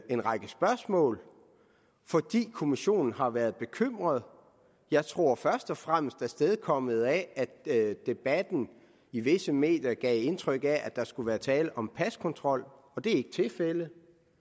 en række spørgsmål fordi kommissionen har været bekymret jeg tror først og fremmest at det er kommet af at debatten i visse medier gav indtryk af at der skulle være tale om paskontrol og det er ikke tilfældet